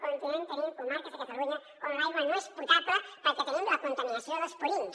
continuem tenint comarques de catalunya on l’aigua no és potable perquè tenim la contaminació dels purins